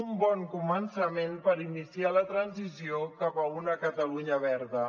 un bon començament per iniciar la transició cap a una catalunya verda